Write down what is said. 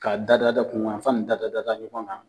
Ka da da da kun yan fan da da da ɲɔgɔn kan.